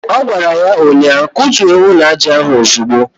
Ọ gwara ya ụnyaahụ"Kutuo ụlọaja ahụ ozugbo"